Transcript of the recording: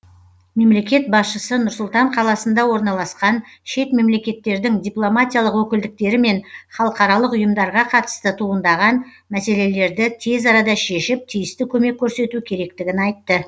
мемлекет басшысы нұр сұлтан қаласында орналасқан шет мемлекеттердің дипломатиялық өкілдіктері мен халықаралық ұйымдарға қатысты туындаған мәселелерді тез арада шешіп тиісті көмек көрсету керектігін айтты